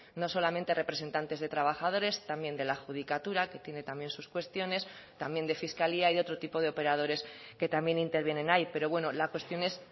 no solamente representantes de trabajadores también de la judicatura que tiene también sus cuestiones también de fiscalía y de otro tipo de operadores que también intervienen ahí pero bueno la cuestión es